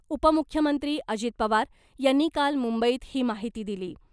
उपमुख्यमंत्री अजित पवार यांनी काल मुंबईत ही माहिती दिली .